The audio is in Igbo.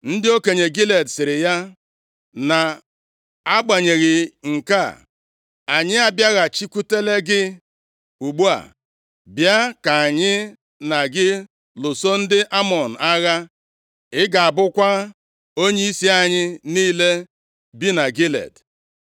Ndị okenye Gilead sịrị ya, “na-agbanyeghị nke a, anyị abịaghachikwutela gị ugbu a, bịa ka anyị na gị lụso ndị Amọn agha. Ị ga-abụkwa onyeisi anyị niile bi na Gilead.”